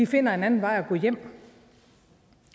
finde en anden vej at gå hjem